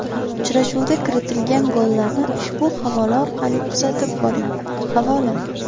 Uchrashuvda kiritilgan gollarni ushbu havola orqali kuzatib boring Havola !